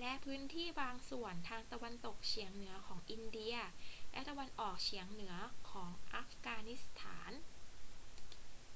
และพื้นที่บางส่วนทางตะวันตกเฉียงเหนือของอินเดียและตะวันออกเฉียงเหนือของอัฟกานิสถาน